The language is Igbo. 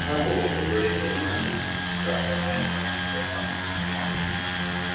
Ha mụrụ obere ihe ha ga-ekwu ka ọ nyere ha mgbe ha nọ n'ihu ọha mmadụ.